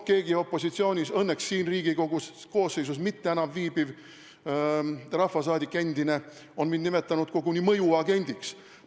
Keegi opositsioonis – õnneks sellesse Riigikogu koosseisu enam mitte kuuluv rahvasaadik – on nimetanud mind koguni mõjuagendiks.